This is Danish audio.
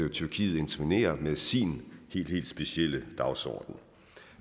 at tyrkiet intervenerer med sin helt helt specielle dagsorden